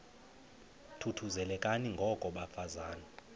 thuthuzelekani ngoko bafazana